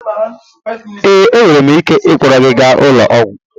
Ee, enwere m ike ịkpọrọ gị gaa ụlọ ọgwụ